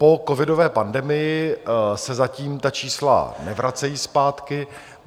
Po covidové pandemii se zatím ta čísla nevracejí zpátky.